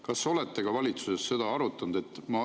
Kas olete valitsuses seda arutanud?